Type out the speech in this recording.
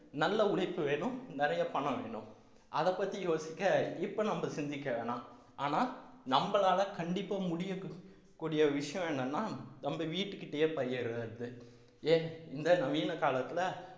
நல்ல உழைப்பு வேணும் நிறைய பணம் வேணும் அதை பத்தி யோசிக்க இப்ப நம்ம சிந்திக்க வேணாம் ஆனா நம்மளால கண்டிப்பா முடிய கூடிய விஷயம் என்னன்னா நம்ம வீட்டுக்கு கிட்டயே பயிர் வருது ஏன் இந்த நவீன காலத்துல